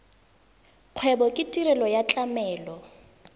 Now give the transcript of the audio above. kgwebo ke tirelo ya tlamelo